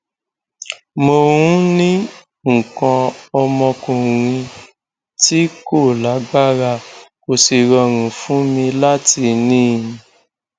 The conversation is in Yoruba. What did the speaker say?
mo ń ní nǹkan ọmọkuùnrin tí kò lágbára kò sì rọrùn fún mi láti ní in